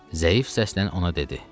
Zəif səslə ona dedi: